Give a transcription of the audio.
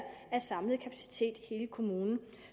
af samlet kapacitet i hele kommunen